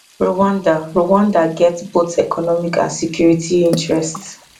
rwanda rwanda get both economic and security interests